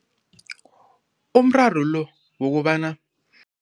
Umraro lo wokobana.